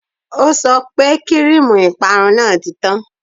O sọ pé kíríìmù ìparun náà ti tán